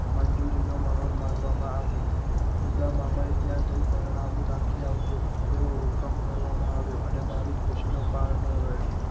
મંજૂરી નો મહોર મારવા માં આવીઉદામમાં ને ત્યાં ને જય પરણાવું નાખી દેજે, તેવો હુકમ કરવામાં આવ્યો, અને મારી ખુશી નો પાર ના રહ્યો.